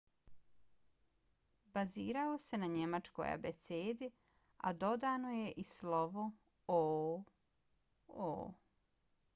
bazirao se na njemačkoj abecedi a dodano je i slovo õ/õ